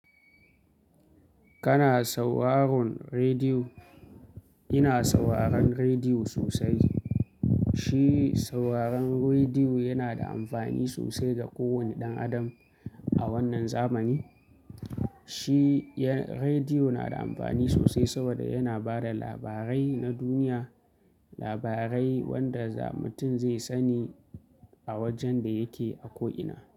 Kana sauraron rediyo? Ina sauraron rediyo sosai. Shi sauraron rediyo yana da amfani sosai ga kowane ɗan adam a wannan zamani. Shi rediyo na da amfani sosai saboda yana ba da labarai na duniya, labarai wanda mutum zai sani a wajen da yake akwaina.